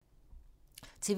TV 2